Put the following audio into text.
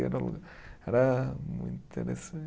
Era muito interessan